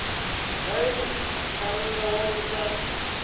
vhae muṱhannga wa u sa